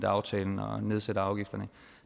aftalen og nedsætter afgifterne